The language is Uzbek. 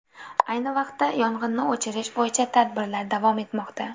Ayni vaqtda yong‘inni o‘chirish bo‘yicha tadbirlar davom etmoqda.